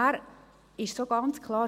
Es ist ganz klar: